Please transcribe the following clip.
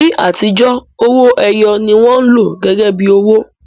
Ní àtijọ́, owó ẹyọ ni wọ́n lò gẹ́gẹ́ bí owó